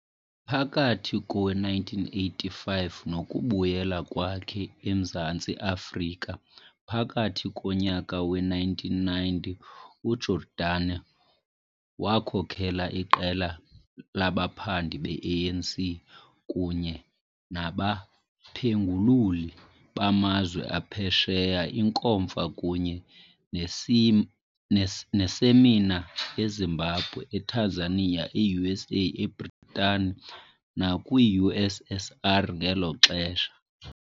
Phakathi kowe-1985 nokubuyela kwakhe eMzantsi Afrika phakathi konyaka we-1990, uJordani wakhokela iqela labaphandi be-ANC kunye nabaphengululi bamazwe aphesheya iinkomfa kunye neesemina eZimbabwe, eTanzania, e-USA, eBritane nakwi-USSR ngelo xesha.